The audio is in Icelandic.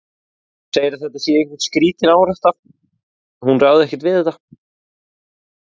Hún segir að þetta sé einhver skrítin árátta, hún ráði ekkert við þetta.